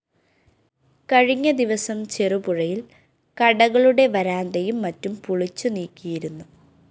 കഴിഞ്ഞ ദിവസം ചെറുപുഴയില്‍ കടകളുടെ വരാന്തയും മറ്റും പൊളിച്ചുനീക്കിയിരുന്നു